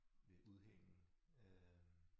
Øh udhæng øh